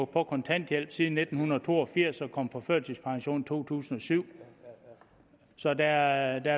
på kontanthjælp siden nitten to og firs og på førtidspension fra to tusind og syv så der